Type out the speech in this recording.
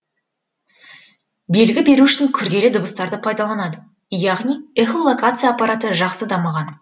белгі беру үшін күрделі дыбыстарды пайдаланады яғни эхолокация аппараты жақсы дамыған